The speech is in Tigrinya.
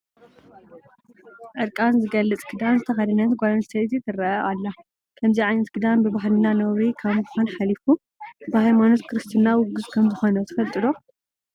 ዕርቃን ዝገልፅ ክዳን ዝተኸደነት ጓል ኣነስተይቲ ትርአ ኣላ፡፡ ከምዚ ዓይነት ክዳን ብባህልና ነውሪ ካብ ምዃን ሓሊፉ ብሃይማኖት ክርስትና ውጉዝ ከምዝኾነ ትፈልጡ ዶ?